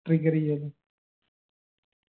trigger യ്യായിരുന്ന്